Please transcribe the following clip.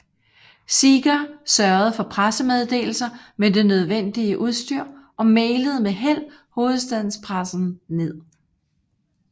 Seeger sørgede for pressemeddelelser med det nødvendige udstyr og mailede med held hovedstadspressen ned